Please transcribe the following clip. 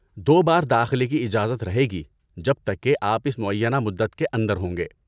دو بار داخلے کی اجازت رہے گی جب تک کہ آپ اس معینہ مدت کے اندر ہوں گے۔